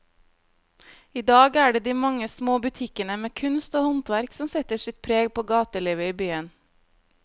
I dag er det de mange små butikkene med kunst og håndverk som setter sitt preg på gatelivet i byen.